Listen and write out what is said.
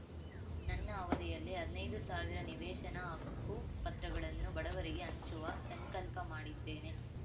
ನನ್ನ ಅವಧಿಯಲ್ಲಿ ಹದ್ನೈದು ಸಾವಿರ ನಿವೇಶನ ಹಕ್ಕು ಪತ್ರಗಳನ್ನು ಬಡವರಿಗೆ ಹಂಚುವ ಸಂಕಲ್ಪ ಮಾಡಿದ್ದೇನೆ